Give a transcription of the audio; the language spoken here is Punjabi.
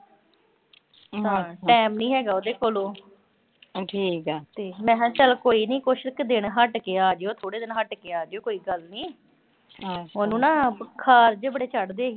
ਟਾਈਮ ਨੀਂ ਹੈਗਾ ਉਹਦੇ ਕੋਲ। ਮੈਂ ਕਿਹਾ ਚਲ ਕੋਈ ਨੀਂ ਕੁਸ਼ ਕੁ ਦਿਨ ਹਟ ਕੇ ਆਜਿਓ, ਥੋੜੇ ਦਿਨ ਹਟ ਕੇ ਆਜਿਓ ਕੋਈ ਗੱਲ ਨੀਂ। ਉਹਨੂੰ ਨਾ ਬੁਖਾਰ ਜੇ ਬੜੇ ਚੜਦੇ ਸੀ।